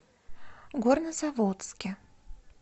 горнозаводске